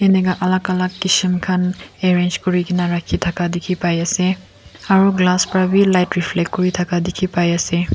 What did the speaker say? enika alak alak kisem khan arrange kurikena rakhi dhaka dekhi bi ase aro glass para bi light reflect kura dekhi bai ase.